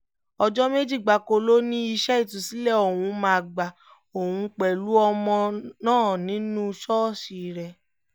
ọjọ́ méjì gbáko ló ní iṣẹ́ ìtúsílẹ̀ ọ̀hún máa gba òun pẹ̀lú ọmọ náà nínú ṣọ́ọ̀ṣì rẹ̀